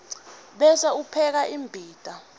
bese upheka imbita